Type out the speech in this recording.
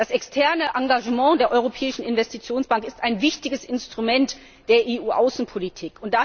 Das externe Engagement der Europäischen Investitionsbank ist ein wichtiges Instrument der EU Außenpolitik.